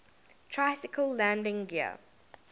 tricycle landing gear